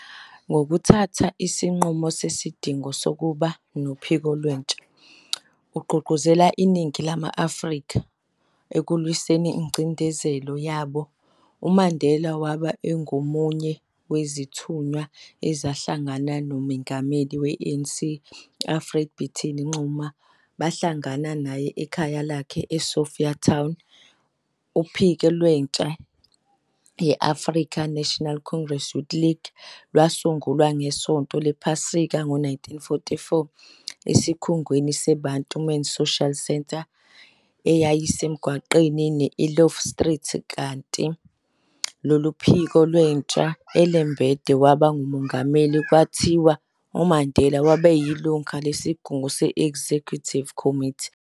Ngokuthatha isinqumo sesidingo sokuba nophiko lwentsha, ukugqugquzela iningi lama-Afrika, ekulwiseni ingcindezelo yabo, uMandela wayengomunye wezithunywa ezahlangana noMengameli we-ANC u-Alfred Bitini Xuma bahlangana naye ekhaya lakhe e-Sophiatown, uphiki lwentsha ye-African National Congress Youth League lwasungulwa ngeSonto lePhasika ngo 1944, esikhungweni se-Bantu Men's Social Centre eyayisemgwaqeni we-Eloff Street, kanti kulolu phiki lwentsha, uLembede waba nguMengameli, kwathi uMandela waba yilungu lesigungu se-executive committee.